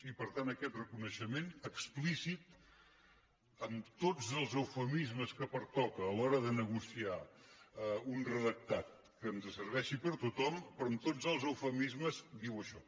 i per tant aquest reconeixement explícit amb tots els eufemismes que pertoca a l’hora de negociar un redactat que ens serveixi per a tothom però amb tots els eufemismes diu això